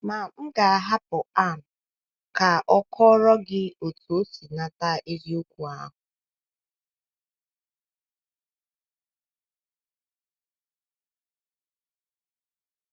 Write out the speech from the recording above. Ma m ga - ahapụ Ann ka ọ kọọrọ gị otú o si nata eziokwu ahụ.